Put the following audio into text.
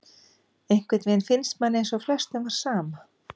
Einhvern veginn finnst manni eins og flestum var sama,